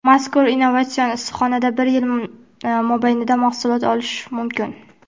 mazkur innovatsion issiqxonada bir yil mobaynida mahsulot olish mumkin.